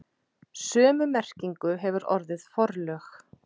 Sömu merkingu hefur orðið forlög.